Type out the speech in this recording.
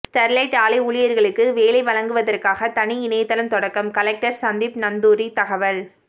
Sterlite ஆலை ஊழியர்களுக்கு வேலை வழங்குவதற்காக தனி இணையதளம் தொடக்கம் கலெக்டர் சந்தீப் நந்தூரி தகவல்